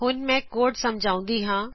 ਹੁਣ ਮੈ ਕੋਡ ਸਮਝਾਉਂਦੀ ਹਾਂ